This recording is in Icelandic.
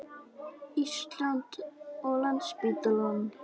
Íslands og Landspítalann.